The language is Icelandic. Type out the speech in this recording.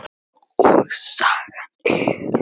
Og sagan er